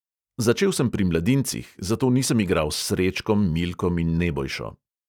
Začel sem pri mladincih, zato nisem igral s srečkom, milkom in nebojšo.